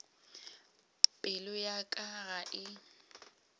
pelo ya ka ga e